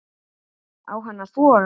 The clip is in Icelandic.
Á hann að þora?